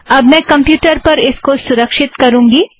अब मैं कमप्युटर पर इसको सुरक्षित करुँगी